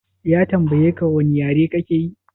Ya tambayeka wane yare kake yi?